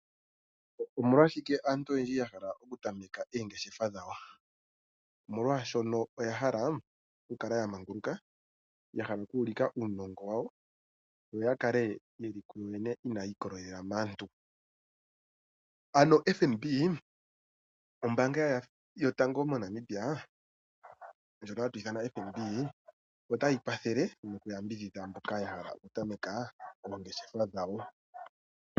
Omolwashike aantu oyendji yahala oku tameka oongeshefa dhawo, omolwashoka oyahala okukala yamanguluka, yahala oku ulika uunongo wawo yo yakale yeli ku yoyene inayi ikolelela maantu. Ano FNB ombaanga yotango moNamibia ndyoka hatu ithana FNB otayi kwathele noku yambidhidha mboka ya hala oku tameka oongeshefa dhawo.